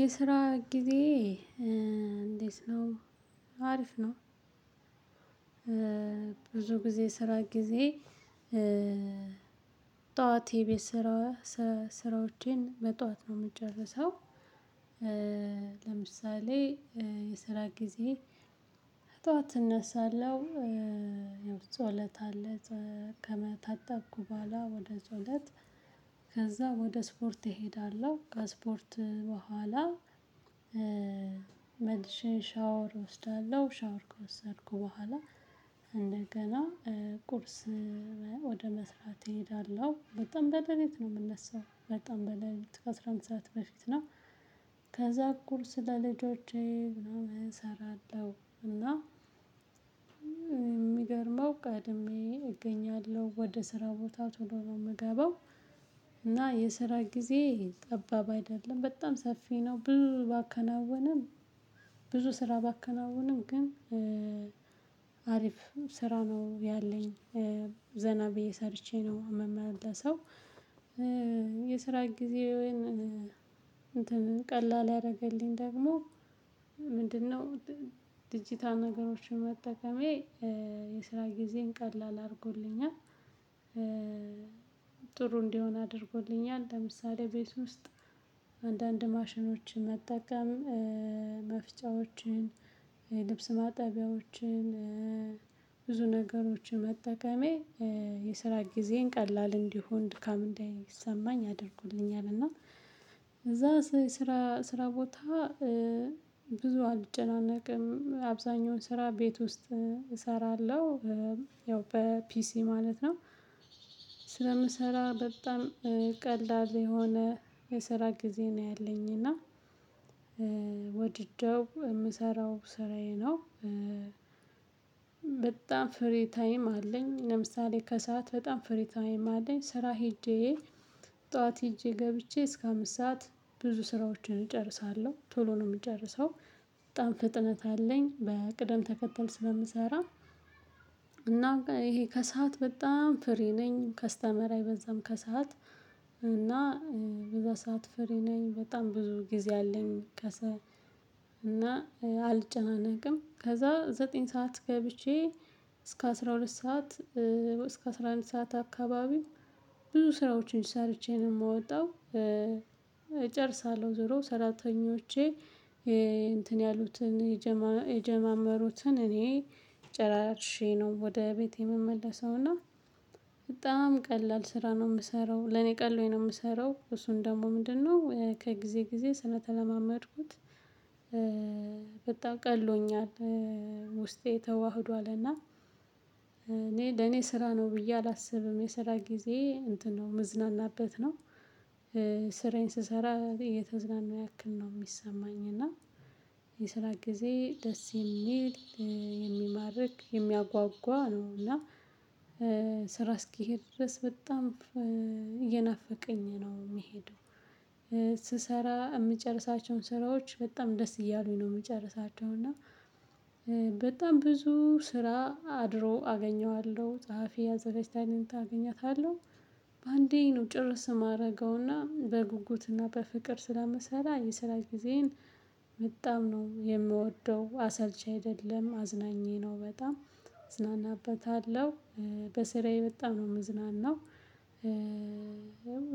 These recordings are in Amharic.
የስራ ጊዜ እንዴት ነው? አሪፍ ነው። ብዙ ጊዜ ስራ ጊዜ ጧት የቤት ስራዎቸን በጧት ነው የምጨርሰው። ለምሳሌ የስራ ጊዜ በጧት እነሳለሁ። የውስጥ ውለታ አለች ከመታታት በኋላ ወደ ዘውለት ከዛ ወደ ስፖርት እሄዳለሁ። ከስፖርት በኋላ መልሼ ሻወር እወስዳለሁ ሻወር ከወሰድኩ በኋላ እንደገና ቁርስ ወደ መስራት እሄዳለሁ። በጣም በለሊት ነው የምነሳው በጣም በለሊት ከአስራ አንድ ሰዓት በፊት ነው። ከዛ ቁርስ ለልጆቼ ምናምን እሰራለሁ እና የሚገርመው ቀድሜ እገኛለሁ ወደ ስራ ቦታ ቶሎ ነው የምገባው። እና የስራ ጊዜ ጠባብ አይደለም በጣም ሰፊ ነው። ብዙ ባከናውንም ብዙ ስራ ባከናውንም ግን አሪፍ ስራ ነው ያለኝ። ዘና ብዬ ሰርቼ ነው ሚመመለሰው። የስራ ጊዜ ወይን ቀላል ያደረገልኝ ደግሞ ምንድነው? ድጅታል ነገሮችን መጠቀሜ የስራ ጊዜን ቀላል አድርጎልኛል። ጥሩ እንዲሆን አድርጎልኛል ለምሳሌ ቤት ውስጥ አንዳንድ ማሽኖችን መጠቀም መፍጫዎችን ልብስ ማጠቢያዎችን ብዙ ነገሮችን መጠቀሜ የስራ ጊዜን ቀላል እንዲሆን ድካም እንዳይሰማኝ አድርጎልኛል። እና እዛ ስራ ስራ ቦታ ብዙ አልጨናነቅም አብዛኛውን ስራ ቤት ውስጥ እሰራለሁ። ያው በፒሲ ማለት ነው። ስለምሰራ በጣም ቀላል የሆነ የሰራ ጊዜ ነው ያለኝ እና ወዲጀው የምሰራው ስራዬ ነው። በጣም ፍሪ ታይም አለኝ ለምሳሌ ከሰአት በጣም ፍሪ ታይም አለኝ ስራ ሄጄ ጧት ሄጀ ገብቼ እስከ አምስት ሰዓት ብዙ ስራዎችን እጨርሳለሁ ቶሎ ነው የምጨርሰው በጣም ፍጥነት አለኝ በቅደም ተከተል ስለምሰራ። እና ይሄ ከሰአት በጣም ፍሪ ነኝ ከስተመር አይበዛም ከሰአት እና በዛ ሰዓት ፍሪ ነኝ በጣም ብዙ ጊዜ አለኝ። ከስዓት እና አልጨናነቅም ከዛ ዘጠኝ ሰዓት ገብቼ እስከ አስራ ሁለት ሰዓት እስከ አስራ አንድ ሰዓት አካባቢ ብዙ ስራዎችን ሰርቼ ነው የሚወጣው እጨርሳለሁ ዞሮ ሰራተኞቼ እንትን ያሉትን የጀማመሩትን እኔ ጭራሪሼ ነው ወደ ቤቴ የምመለሰው። እና በጣም ቀላል ስራ ነው የምሰራው ለኔ ቀሎኝ ነው። የምሰራው እሱን ደግሞ ምንድነው ከጊዜ ጊዜ ስለተለማመድኩት ቀሎኛል። ውስጤ ተዋህዶልና እኔ ለኔ ስራ ነው ብዬ አላስብም የሰራ ጊዜ እንትን ነው የምዝናናበት ነው። ስራዬን ስሰራ እየተዝናና ያክል ነው የሚሰማኝ። እና የስራ ጊዜ ደስ የሚል የሚማርክ የሚያጓጓ ነው። እና ስራ እስኪሄድ ድረስ በጣም እየናፈቀኝ ነው የሚሄደው። ስሰራ የምጨርሳቸውን ስራዎች በጣም ደስ እያሉኝ ነው የምጨርሳቸው። እና በጣም ብዙ ስራ አድሮ አገኘዋለሁ ጸሐፊ አዘጋጅታልኝ አገኛታለሁ በአንዴ ነው ጭርስ የማደርገውና በጉጉትና በፍቅር ስለሚሰራ የስራ ጊዜዬን በጣም ነው የምወደው። አሰልቺ አይደለም አዝናኝ ነው በጣም እዝናናበታለሁ። በስራዬ በጣም ነው የምዝናናው።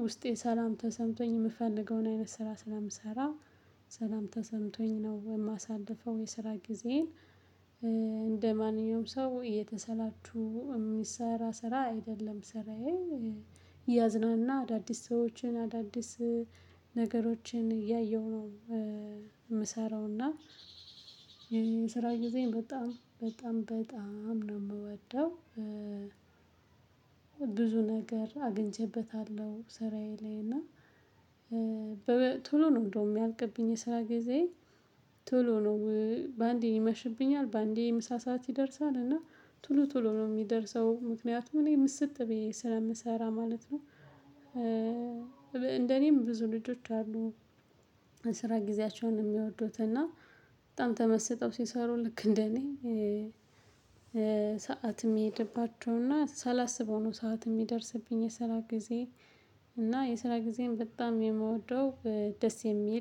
ውስጤ ሰላም ተሰምቶኝ የምፈልገውን አይነት ስራ ስለምሰራ ሰላም ተሰምቶኝ ነው የማሳልፈው። የስራ ጊዜን እንደማንኛውም ሰው እየተሰላቹ የሚሰራ ስራ አይደለም። ስራዬ እያዝናና አዳዲስ ሰዎችን አዳዲስ ነገሮችን እያየሁ ነው። የምሰራው እና ስራ ጊዝየን በጣም በጣም በጣም ነው የምወደው። ብዙ ነገር አግኝቼበታለሁ ስራዬ ላይ እና ቶሎ ነው እንደውም ሚልቅብኝ የስራ ጊዜዬ ቶሎ ነው። በአንዴ ይመሽብኛል በአንዴ ምሳ ሰዓት ይደርሳል እና ቶሎ ቶሎ ነው የሚደርሰው ምክንያቱም እኔ ሚሲጥ ብዬ ስለምሰራ ማለት ነው። እንደ እኔም ብዙ ልጆች አሉ። የስራ ጊዜያቸውን የሚወዱት እና በጣም ተመስጠው ሲሰሩ ልክ እንደኔ ሰዓት የሚሄድባቸው እና ሳላስበው ነው ሰዓት የሚደርስብኝ የስራ ጊዜ። እና የስራ ጊዜን በጣም የምወደው ደስ የሚል